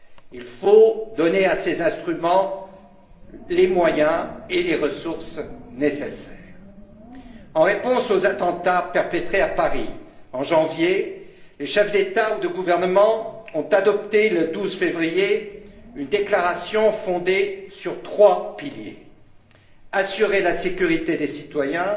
Il faut donner à ces instruments les moyens et les ressources nécessaires. En réponse aux attentats perpétrés à Paris, en janvier, les chefs d'État ou de gouvernement ont adopté le 12 février une déclaration fondée sur trois piliers assurer la sécurité des citoyens,